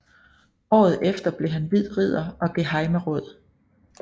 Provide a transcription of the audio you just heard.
Året efter blev han hvid ridder og gehejmeråd